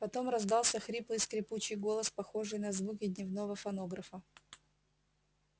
потом раздался хриплый скрипучий голос похожий на звуки дневнего фонографа